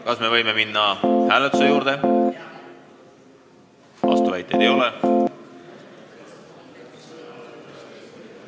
Kas me võime minna hääletuse juurde, kas vastuväiteid ei ole?